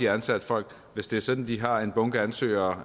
ansat folk hvis det er sådan at de har en bunke ansøgere